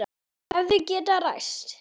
Hefði getað ræst.